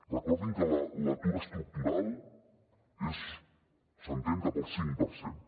recordin que l’atur estructural s’entén cap al cinc per cent